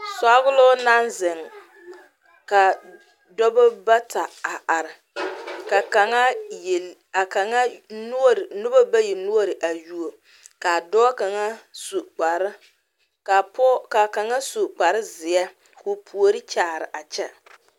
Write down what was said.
Sɔgloŋ naŋ zeŋ ka dɔba bata a are ka kaŋa yel ka kaŋa noɔre noba bayi noɔre a yuo ka a dɔɔ kaŋa su kpare ka pɔge ka kaŋa su kparezeɛ ka o puori kyaare a kyɛ .